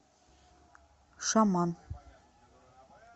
шаман